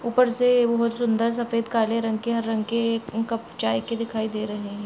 ऊपर से बहुत सुन्दर सफेद काले रंग के हर रंग के चाय के कप दिखाई दे रहे हैं।